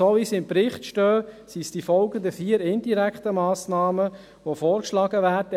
So wie sie jedoch im Bericht stehen, sind es die folgenden vier indirekten Massnahmen, welche vorgeschlagen werden: